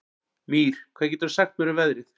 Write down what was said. Mír, hvað geturðu sagt mér um veðrið?